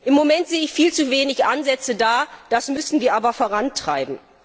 Im Moment sehe ich da viel zu wenige Ansätze das müssen wir aber vorantreiben.